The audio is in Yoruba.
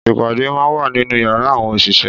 Ìpàdé má wá nínú yàrá àwọn òṣìṣẹ́